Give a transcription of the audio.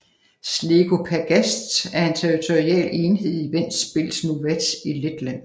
Zlēku pagasts er en territorial enhed i Ventspils novads i Letland